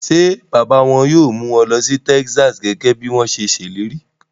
Ṣé bàbá wọn yóò mú wọn lọ sí Texas gẹ́gẹ́ bí wọ́n ṣe ṣèlérí?